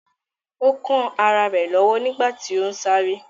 Ó kán ará rẹ̀ lọ́wọ́ nígbàtí ó ún sáré